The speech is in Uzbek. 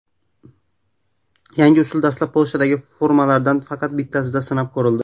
Yangi usul dastlab Polshadagi turmalardan faqat bittasida sinab ko‘rildi.